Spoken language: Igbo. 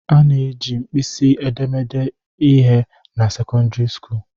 A na-eji mkpịsị edemede ede ihe na sekọndịrị skuulu